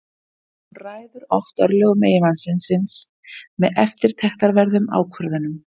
Hún ræður oft örlögum eiginmanns síns með eftirtektarverðum ákvörðunum.